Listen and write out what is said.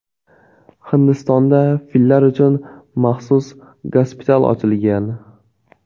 Hindistonda fillar uchun maxsus gospital ochilgan.